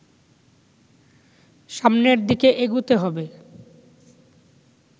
সামনের দিকে এগুতে হবে